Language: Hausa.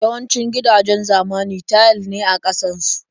Yawancin gidajen zamani tayil ne a ƙasan su.